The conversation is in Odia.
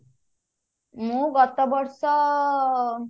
ମୁଁ ଗତବର୍ଷ